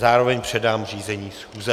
Zároveň předám řízení schůze.